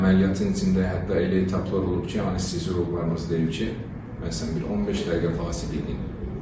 Əməliyyatın içində hətta elə etaplar olub ki, anestezioloqlarımız deyib ki, məsələn bir 15 dəqiqə fasilə eləyin.